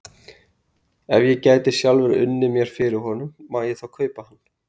Ef ég get sjálfur unnið mér fyrir honum, má ég þá kaupa hann?